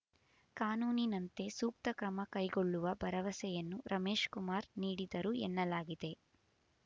ಕಾನೂನಿನಂತೆ ಸೂಕ್ತ ಕ್ರಮ ಕೈಗೊಳ್ಳುವ ಭರವಸೆಯನ್ನು ರಮೇಶ್‌ಕುಮಾರ್ ನೀಡಿದರು ಎನ್ನಲಾಗಿದೆ